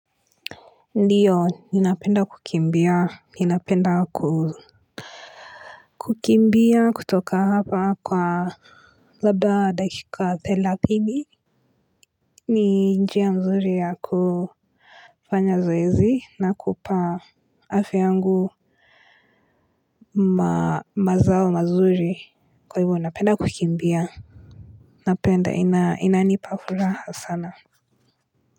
Ndio, ninapenda kukimbia ninapenda kukimbia kutoka hapa labda kwa dakika thelathini. Ni njia nzuri ya kufanya zoezi nakupa afya yangu mazao mazuri. Kwa hivyo napenda kukimbia. Napenda ina nipafuraha sana.